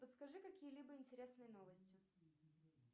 подскажи какие либо интересные новости